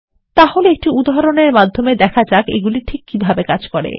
তাহলে একটি উদাহরণ মাধ্যমে দেখা যাক এগুলিকীভাবে কাজ করে